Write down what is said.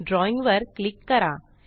drawing वर click करा